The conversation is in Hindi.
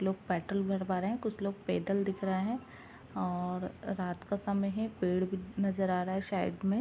लोग पेट्रोल भरवा रहे हैं। कुछ लोग पैदल दिख रहे हैं और रात का समय है। पेड़ भी नज़र आ रहा है साइड में।